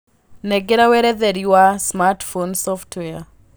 nengera weretherĩ wa smartphone software